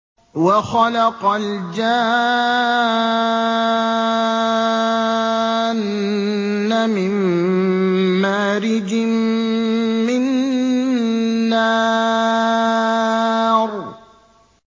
وَخَلَقَ الْجَانَّ مِن مَّارِجٍ مِّن نَّارٍ